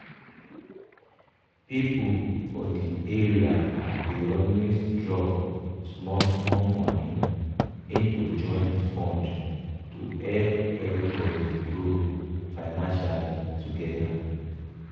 people for the area dey always drop small small money into joint fund to help everybody grow financially together.